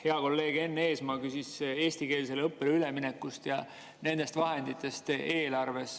Hea kolleeg Enn Eesmaa küsis eestikeelsele õppele ülemineku ja nende vahendite kohta eelarves.